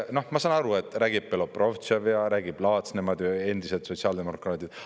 Noh, ma saan aru, et räägib Belobrovtsev ja räägib Laats, nemad on ju endised sotsiaaldemokraadid.